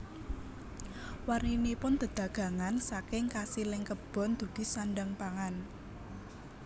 Warninipun dedagangan saking kasiling kebon dugi sandhang pangan